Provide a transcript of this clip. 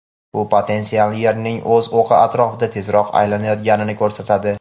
Bu potensial Yerning o‘z o‘qi atrofida tezroq aylanayotganini ko‘rsatadi.